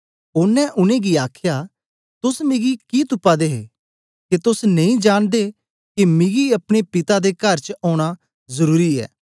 ओनें उनेंगी आखया तोस मिगी कि तुपा दे हे के तोस नेई जांनदे के मिगी अपने पिता दे कर च ओना जरुरी ऐ